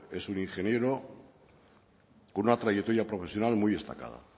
es un ingeniero con una trayectoria profesional muy destacada